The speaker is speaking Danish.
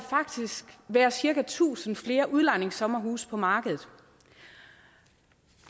være cirka tusind flere udlejningssommerhuse på markedet